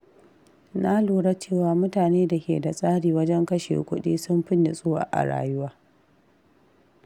Na lura cewa mutane da ke da tsari wajen kashe kuɗi sun fi nutsuwa a rayuwa.